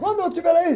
Quando eu estiver aí?